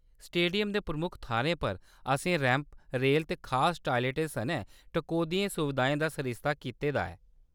Stadium दे प्रमुख थाह्‌रें पर, असें रैंप, रेल ते खास टायलेटें सनै टकोह्‌दियें सुविधाएं दा सरिस्ता कीते दा ऐ।